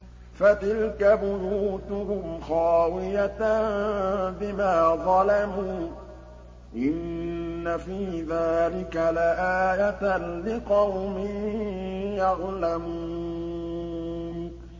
فَتِلْكَ بُيُوتُهُمْ خَاوِيَةً بِمَا ظَلَمُوا ۗ إِنَّ فِي ذَٰلِكَ لَآيَةً لِّقَوْمٍ يَعْلَمُونَ